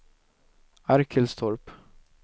Arkelstorp